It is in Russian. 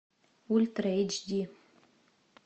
ультра эйч ди